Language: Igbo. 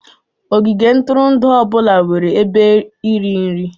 Ogige ntụrụndụ ọ bụla nwere ebe iri nri